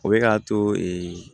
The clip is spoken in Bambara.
O bɛ k'a to